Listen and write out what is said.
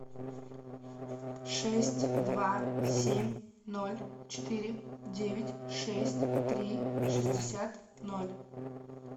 шесть два семь ноль четыре девять шесть три шестьдесят ноль